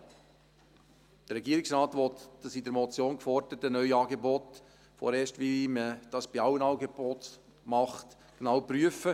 Der Regierungsrat möchte das in der Motion geforderte Neuangebot – wie man dies bei allen Angeboten macht – vorerst genau prüfen.